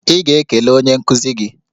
Ị ga-ekele onye nkuzi gị!